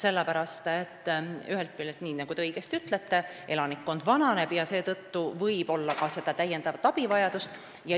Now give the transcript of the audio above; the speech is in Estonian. Ühest küljest, nii nagu te õigesti ütlesite, elanikkond vananeb ja seetõttu võib tekkida täiendavat abivajadust.